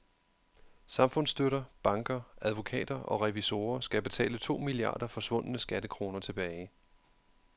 Samfundsstøtter, banker, advokater og revisorer skal betale to milliarder forsvundne skattekroner tilbage.